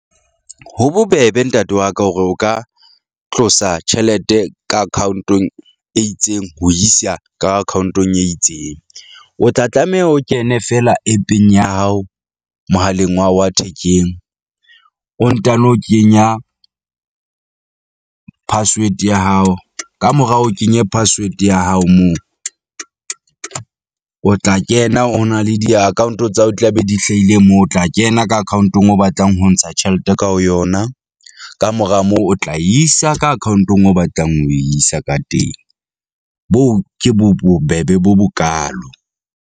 Ho bobebe ntate wa ka hore o ka tlosa tjhelete ka account-ong e itseng ho isa ka account-ong e itseng. O tla tlameha o kene fela app-eng ya hao mohaleng wa hao wa thekeng, o ntano kenya password ya hao. Kamora o kenye password ya hao moo o tla kena, ho na le di-account-o tsa hao di tla be di hlaile moo. O tla kena ka account-ong eo o batlang ho ntsha tjhelete ka ho yona, kamora moo o tla isa ka account-ong eo o batlang ho isa ka teng. Boo, ke bo bobebe bo bokaalo.